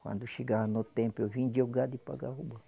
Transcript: Quando chegava no tempo, eu vendia o gado e pagava o banco.